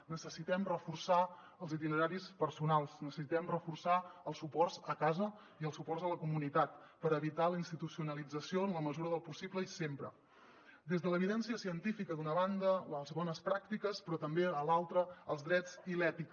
necessitem reforçar els itineraris personals necessitem reforçar els suports a casa i els suports a la comunitat per evitar la institucionalització en la mesura del possible i sempre des de l’evidència científica d’una banda les bones pràctiques però també de l’altra els drets i l’ètica